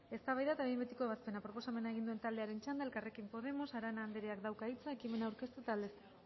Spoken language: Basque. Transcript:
eztabaida eta behin betiko ebazpena proposamena egin duen taldearen txanda elkarrekin podemos arana andreak dauka hitza ekimena aurkeztu eta aldezteko